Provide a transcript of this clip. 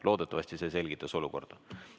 Loodetavasti see selgitas olukorda.